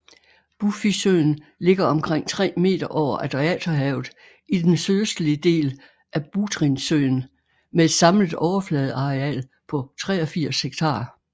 Bufisøen ligger omkring 3 meter over Adriaterhavet i den sydøstlige del af Butrintsøen med et samlet overfladeareal på 83 hektar